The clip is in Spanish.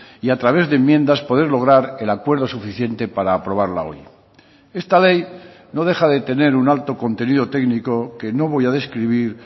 y a través de enmiendas poder lograr el acuerdo suficiente para aprobarla hoy esta ley no deja de tener un alto contenido técnico que no voy a describir